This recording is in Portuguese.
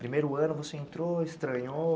Primeiro ano você entrou, estranhou?